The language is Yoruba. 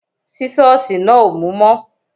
Sísọ̀sì náà ò mú mọ́